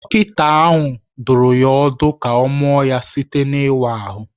Dọkịta ahụ dụrụ ya ọdụ ka ọ mụọ ya site n’ịwa ahụ.